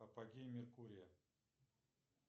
апогей меркурия